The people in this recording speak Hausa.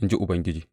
in ji Ubangiji.